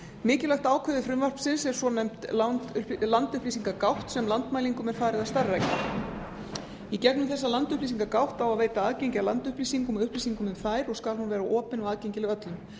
mikilvægt ákvæði frumvarpsins er svonefnt landupplýsingagátt sem landmælingum er falið að starfrækja í gegnum þessa landupplýsingagátt á að veita aðgengi að landupplýsingum og upplýsingum um þær og skal hún vera opin og aðgengileg öllum